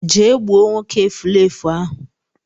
Je gbuo nwoke efulefu ahu